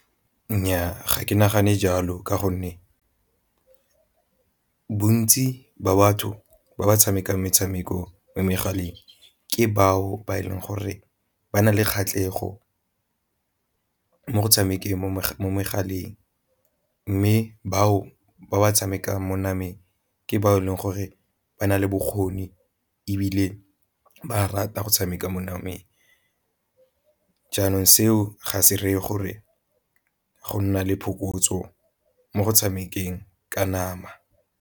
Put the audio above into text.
Nnyaa, ga ke nagane jalo ka gonne bontsi ba batho ba ba tshamekang metshameko mo megaleng ke bao ba e leng gore ba na le kgatlhego mo go tshamekeng mo megaleng, mme batho ba ba tshamekang mo nameng ke ba e leng gore ba na le bokgoni ebile ba rata go tshameka mo nameng. Jaanong seo ga se reye gore go nna le phokotso mo go tshamekelang ka nama.